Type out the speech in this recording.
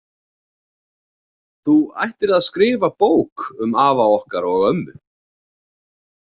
Þú ættir að skrifa bók um afa okkar og ömmu.